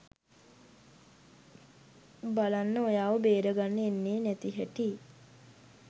බලන්න ඔයාව බේරගන්න එන්නේ නැති හැටි.